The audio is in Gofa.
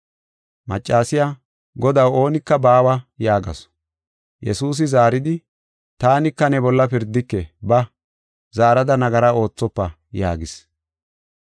Maccasiya, “Godaw, oonika baawa” yaagasu. Yesuusi zaaridi, “Taanika ne bolla pirdike. Ba; zaarada nagara oothofa” yaagis.